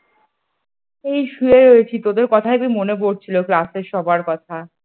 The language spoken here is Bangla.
এই শুয়ে রয়েছি তোদের কথা খুব মনে পড়ছিল class এর সবার কথা।